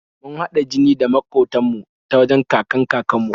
Mun haɗa jini da maƙotan mu ta wajen kakan-kakan mu